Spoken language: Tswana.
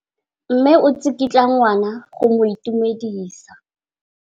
Mme o tsikitla ngwana go mo itumedisa.